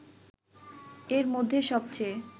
এর মধ্যে সবচেয়ে